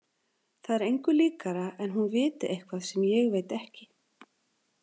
Það er engu líkara en hún viti eitthvað sem ég veit ekki.